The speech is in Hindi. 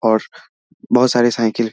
और बहुत सारे साइकिल --